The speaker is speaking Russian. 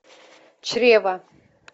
чрево